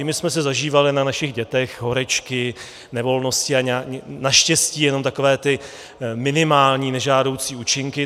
I my jsme si zažívali na našich dětech horečky, nevolnosti a naštěstí jenom takové ty minimální nežádoucí účinky.